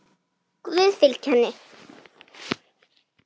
Guð fylgi henni.